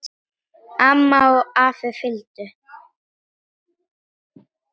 Amma og afi fylgdu með.